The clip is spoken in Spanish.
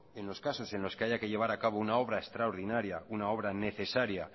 en los casos que haya que llevar a cabo una obra extraordinaria una obra necesaria